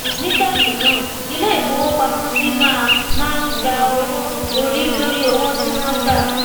nígbà míràn ilé ìfowópamọsí má má ń gba owó orí lórí owó tí wón gbà